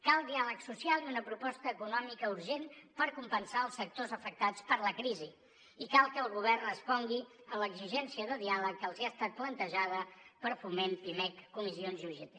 cal diàleg social i una proposta econòmica urgent per compensar els sectors afectats per la crisi i cal que el govern respongui a l’exigència de diàleg que els ha estat plantejada per foment pimec comissions i ugt